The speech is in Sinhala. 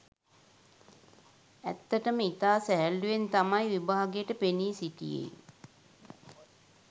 ඇත්තටම ඉතා සැහැල්ලුවෙන් තමයි විභාගයට පෙනී සිටියේ.